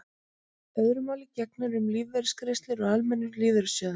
öðru máli gegnir um lífeyrisgreiðslur úr almennum lífeyrissjóðum